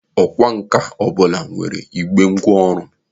Ọkwà nkà ọbụla nwere igbe ngwa ọrụ.